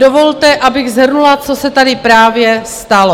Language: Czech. Dovolte, abych shrnula, co se tady právě stalo.